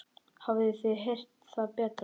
Hafið þið heyrt það betra.